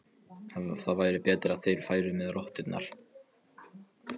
Það væri betra að þeir færu með rotturnar.